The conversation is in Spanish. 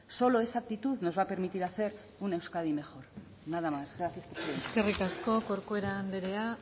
solo esa actitud nos va a permitir hacer un euskadi mejor nada más gracias por su tiempo eskerrik asko corcuera andreak